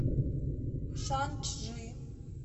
шанчжи